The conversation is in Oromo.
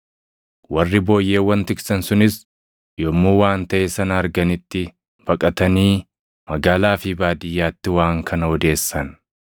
Warri booyyeewwan tiksan sunis yommuu waan taʼe sana arganitti, baqatanii magaalaa fi baadiyyaatti waan kana odeessan;